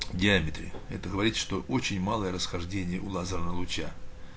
в диаметре это говорит что очень малое расхождение у лазерного луча